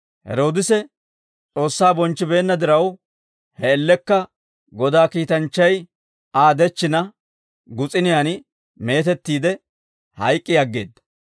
Heroodise S'oossaa bonchchibeenna diraw, he man''iyaan Godaa kiitanchchay Aa dechchina, gus'uniyaan meetettiide, hayk'k'i aggeedda.